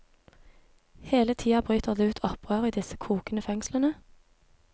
Hele tida bryter det ut opprør i disse kokende fengslene.